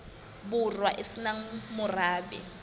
borwa e se nang morabe